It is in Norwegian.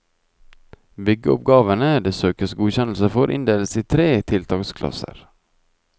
Byggeoppgavene det søkes godkjennelse for, inndeles i tre tiltaksklasser.